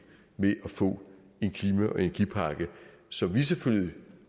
med at få en klima og energipakke som vi selvfølgelig